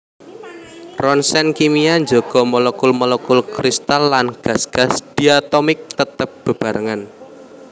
Roncèn kimia njaga molekul molekul kristal lan gas gas diatomik tetep bebarengan